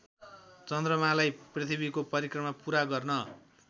चन्द्रमालाई पृथ्वीको परिक्रमा पुरा गर्न